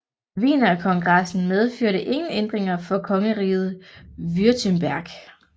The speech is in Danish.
Wienerkongressen medførte ingen ændringer for kongeriget Württemberg